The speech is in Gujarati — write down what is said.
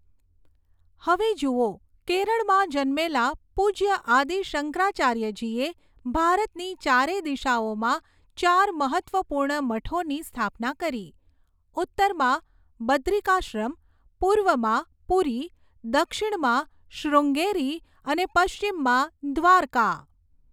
હવે જૂઓ, કેરળમાં જન્મેલા પૂજ્ય આદિ શંકરાચાર્યજીએ ભારતની ચારે દિશાઓમાં ચાર મહત્ત્વપૂર્ણ મઠોની સ્થાપના કરી, ઉત્તરમાં બદ્રિકાશ્રમ, પૂર્વમાં પૂરી, દક્ષિણમાં શ્રૃંગેરી અને પશ્ચિમમાં દ્વારકા.